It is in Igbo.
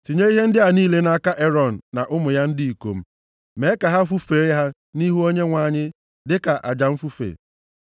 tinye ihe ndị a niile nʼaka Erọn na ụmụ ya ndị ikom, mee ka ha fufee ha nʼihu Onyenwe anyị dịka aja mfufe.